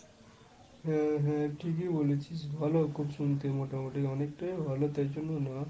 হ্যাঁ হ্যাঁ ঠিকই বলেছিস। ভালো খুব শুনতে মোটামুটি। অনেকটাই ভালো তার জন্য না,